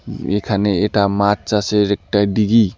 এখানে এটা মাছ চাষের একটা ডিগি ।